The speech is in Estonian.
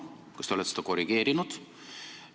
Kas te olete seda korrigeerinud?